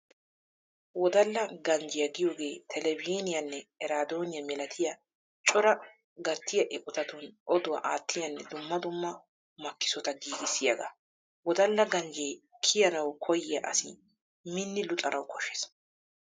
Wodalla ganjjiyaa giyogee televizhiiniyaanne eraadoniya milatiya coraa gattiya eqotatun oduwaa aattiyaanne dumma dumma makkisota giigissiyagaa. Wodalla ganjje kiyanawu koyiya asi minni luxanawu koshshees.